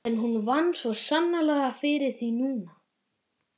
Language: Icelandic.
En hún vann svo sannarlega fyrir því núna.